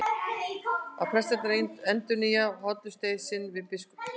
Allir prestarnir endurnýja hollustueið sinn við biskupinn.